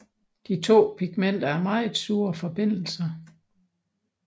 De to pigmenter er meget sure forbindelser